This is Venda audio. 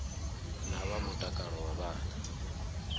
na vha mutakalo wa vhana